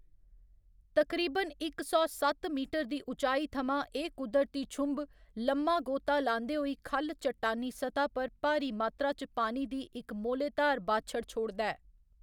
तकरीबन इक सौ सत्त मीटर दी उचाई थमां एह्‌‌ कुदरती छुंब लम्मा गोता लांदे होई ख'ल्ल चट्टानी सतह्‌ पर भारी मात्रा च पानी दी इक मोह्‌लेधार बाछड़ छोड़दा ऐ।